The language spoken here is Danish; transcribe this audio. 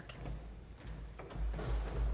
er